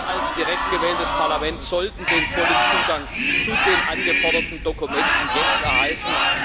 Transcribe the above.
Wir als direkt gewähltes Parlament sollten den vollen Zugang zu den angeforderten Dokumenten jetzt erhalten.